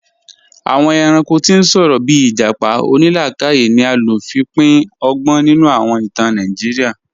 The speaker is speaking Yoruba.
Awọn èrànko tí n sọ̀rọ̀, bíì ijápá onílàkàyè ni a ló fi pín ọ̀gbọn nínu awọn ìtàn Nàìjíríà